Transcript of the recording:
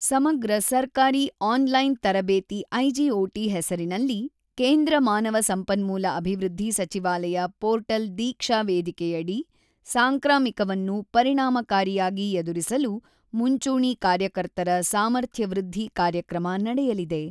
ಸಮಗ್ರ ಸರ್ಕಾರಿ online ತರಬೇತಿ ಐಜಿಒಟಿ ಹೆಸರಿನಲ್ಲಿ ಕೇಂದ್ರ ಮಾನವ ಸಂಪನ್ಮೂಲ ಅಭಿವೃದ್ಧಿ ಸಚಿವಾಲಯ ಪೋರ್ಟಲ್ ದೀಕ್ಷಾ ವೇದಿಕೆಯಡಿ ಸಾಂಕ್ರಾಮಿಕವನ್ನು ಪರಿಣಾಮಕಾರಿಯಾಗಿ ಎದುರಿಸಲು ಮುಂಚೂಣಿ ಕಾರ್ಯಕರ್ತರ ಸಾಮರ್ಥ್ಯವೃದ್ಧಿ ಕಾರ್ಯಕ್ರಮ ನಡೆಯಲಿದೆ.